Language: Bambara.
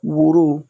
Woro